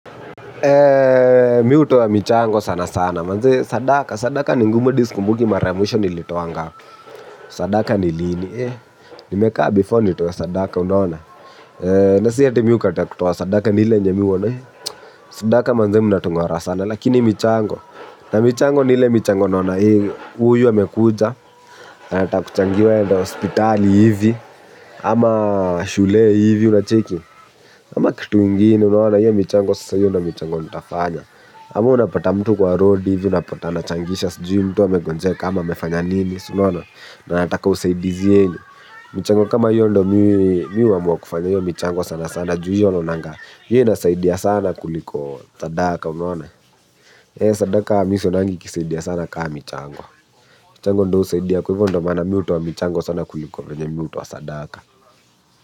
Mi michango sana sana. Manze sadaka sadaka ni ngumu sana ata sikumbuki mara ya mwisho nilitoa ngapi. Sadaka ni lini. Nimekaa before nitoe sadaka. Unaona nasi eti mi hukataa kutoa. Sadaka nile mimi huona hii. Sadaka manze mna tungorana sana. Lakini michango. Na michango nile michango naona huyu amekuja. Anataka kuchangiwa aenda hospitali hivi. Ama shule hivi unacheki. Ama kitu ingine unaona hio mchango sasa hio ndo michango nitafanya. Ama unapata mtu kwa roadi hivi unapata anachangisha sijui mtu amegonjeka ama amefanya nini siunaona na anataka usaidizi yenu. Michango kama ndo mi huamua kufanya michango sana sana juu huwa naonanga hio inasaidia sana kuliko sadaka unaona sadaka mi sionangi ikiisaidia sana kaa michango. Michango ndo husaidia kwa hivyo ndo maana mi hutoa wa michango sana kuliko venye mi hutoa sadaka.